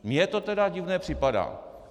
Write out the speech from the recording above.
Mně to tedy divné připadá.